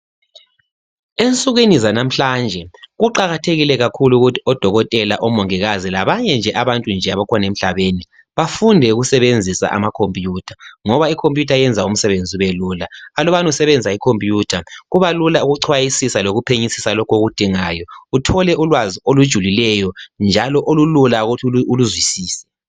Ensukwini zanamhlanje kuqakathekile kakhulu ukuthi odokotela ,omongikazi labanye nje abantu abakhona emhlabeni bafunde ukusebenzisa amakhompiyutha ngoba ikhompiyutha yenza umsebenzi ubelula. Alubana usebenzisa ikhompiyutha kubalula ukuchwayisisa lokuphenyisisa lokho okudingayo uthole ulwazi olujulileyo njalo olulula ukuthi uluzwisise.